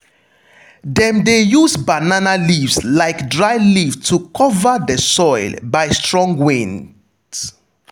dem de use banana leaves like dryleaf to cover de soil by strong winds.